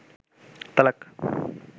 তালাক